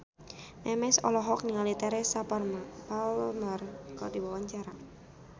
Memes olohok ningali Teresa Palmer keur diwawancara